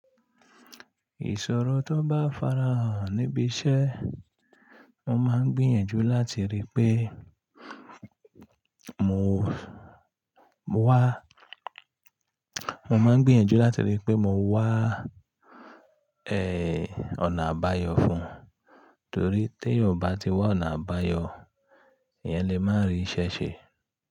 Ìṣòro tó bá farahàn níbi iṣẹ́, mo máa ń gbìyànjú láti rí pé mo wá, mo máa ń gbìyànjú láti rí pé mo wá ẹ́ ọ̀nà àbáyọ fún un. Nítorí tí èèyàn ò bá ti wa ọ̀nà àbáyọ, eyan lè má rí iṣẹ́ ṣe.